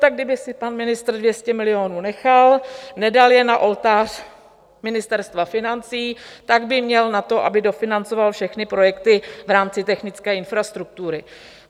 Tak kdyby si pan ministr 200 milionů nechal, nedal je na oltář Ministerstva financí, tak by měl na to, aby dofinancoval všechny projekty v rámci technické infrastruktury.